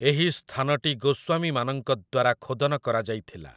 ଏହି ସ୍ଥାନଟି ଗୋସ୍ଵାମୀମାନଙ୍କ ଦ୍ଵାରା ଖୋଦନ କରାଯାଇଥିଲା ।